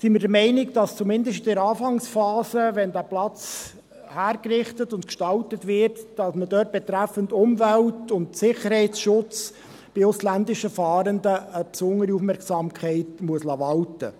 Wir sind der Meinung, dass man dort, zumindest in der Anfangsphase, wenn dieser Platz hergerichtet und gestaltet wird, betreffend Umwelt und Sicherheitsschutz bei ausländischen Fahrenden eine besondere Aufmerksamkeit walten lassen muss.